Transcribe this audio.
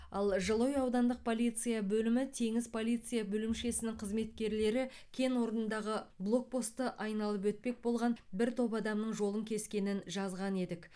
ал жылыой аудандық полиция бөлімі теңіз полиция бөлімшесінің қызметкерлері кен орнындағы блокпостты айналып өтпек болған бір топ адамның жолын кескенін жазған едік